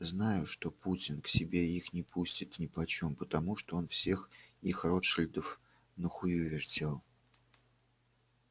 знают что путин к себе их не пустит нипочём потому что он всех их ротшильдов на хую вертел